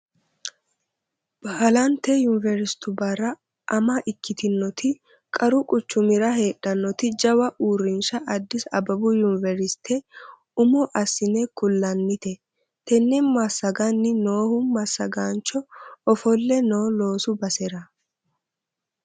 Baalante yuniveristubbara ama ikkitinoti qaru quchumira heedhanoti jawa uurrinsha addis abbebu yuniversite umo assine ku'lannite tene massagani noohu massagancho ofolle no loosu basera